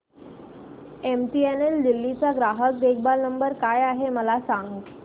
MTNL Delhi चा ग्राहक देखभाल नंबर काय आहे मला सांग